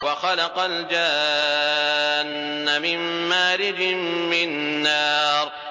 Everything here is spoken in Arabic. وَخَلَقَ الْجَانَّ مِن مَّارِجٍ مِّن نَّارٍ